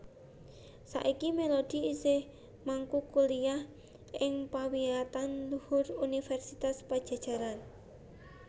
Saiki Melody isih mengku kuliah ing pawiyatan luhur Universitas Padjadjaran